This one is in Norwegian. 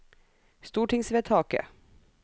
stortingsvedtaket